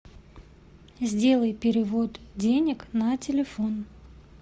сделай перевод денег на телефон